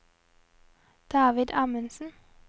David Amundsen